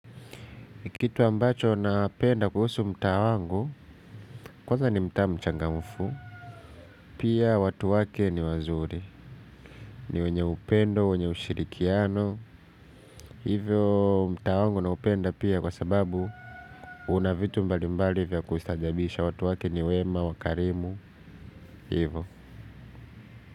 Kitu ambacho napenda kuhusu mtaa wangu kwanza ni mtaa mchangamfu pia watu wake ni wazuri ni wenye upendo wenye ushirikiano hivyo mtaa wangu naupenda pia kwa sababu una vitu mbali mbali vya kustaajabisha watu wake ni wema wakarimu hivyo.